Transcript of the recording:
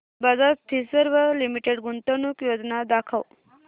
Bajaj Finserv limited गुंतवणूक योजना दाखव